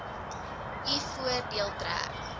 u voordeel trek